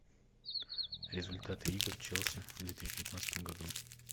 результаты игр челси в две тысячи девятнадцатом году